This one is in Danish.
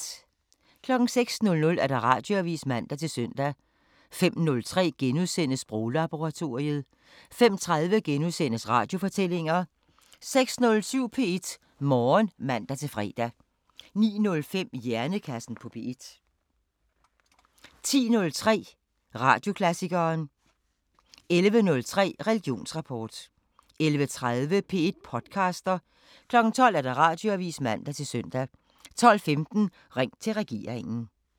05:00: Radioavisen (man-søn) 05:03: Sproglaboratoriet * 05:30: Radiofortællinger * 06:07: P1 Morgen (man-fre) 09:05: Hjernekassen på P1 10:03: Radioklassikeren 11:03: Religionsrapport 11:30: P1 podcaster 12:00: Radioavisen (man-søn) 12:15: Ring til regeringen